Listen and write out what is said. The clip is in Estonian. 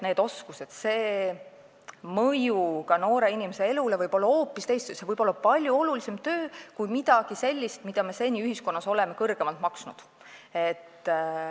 Need oskused on sellised, mõju ka noore inimese elule võib olla selline, et see võib olla palju olulisem töö kui midagi sellist, mille eest me seni ühiskonnas oleme rohkem maksnud.